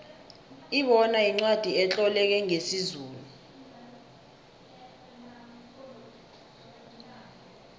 ibona yincwacli etloleke ngesizulu